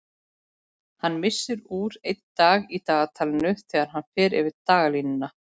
Hann missir úr einn dag í dagatalinu þegar hann fer yfir dagalínuna.